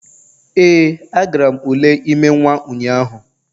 Ee, agara m ule ime nwa ụnyahụ